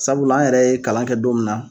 Sabula an yɛrɛ ye kalan kɛ don min na